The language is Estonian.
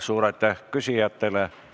Suur aitäh küsijatele!